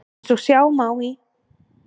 Eins og sjá má í